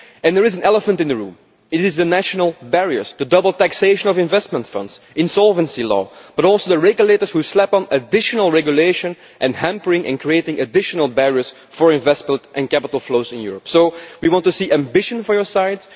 And there is an elephant in the room it is the national barriers the double taxation of investment funds, insolvency law and also the regulators who slap on additional regulation and who are creating additional barriers to investment and capital flows in Europe. Therefore, Commissioner, we want to see ambition from your side